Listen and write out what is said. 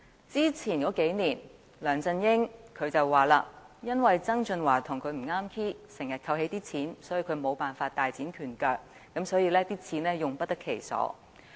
之前數年，梁振英說由於曾俊華與他不咬弦，以致財政資源經常被扣起，令他無法大展拳腳，財政儲備亦用不得其所。